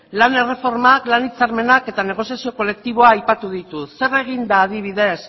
lan erreformak lan hitzarmenak eta negoziazio kolektiboa aipatu ditut zer egin da adibidez